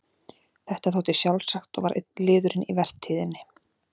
Þetta þótti sjálfsagt og var einn liðurinn í vertíðinni.